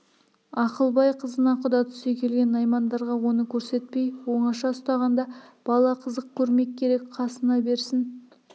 ақылбай қызына құда түсе келген наймандарға оны көрсетпей оңаша ұстағанда бала қызық көрмек керек қасына берсін